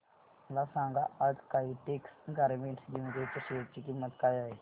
मला सांगा आज काइटेक्स गारमेंट्स लिमिटेड च्या शेअर ची किंमत काय आहे